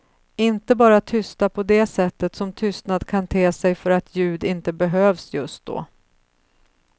Inte bara tysta på det sättet som tystnad kan te sig för att ljud inte behövs just då.